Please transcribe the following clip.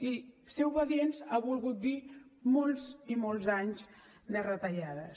i ser obedients ha volgut dir molts i molts anys de retallades